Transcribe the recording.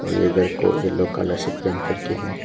और ये घर को येलो कलर से पेंट करके है।